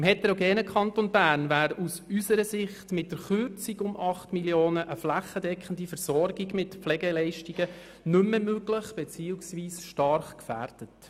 Im heterogenen Kanton Bern wäre aus unserer Sicht mit der Kürzung um 8 Mio. Franken eine flächendeckende Versorgung mit Pflegeleistungen nicht mehr möglich beziehungsweise stark gefährdet.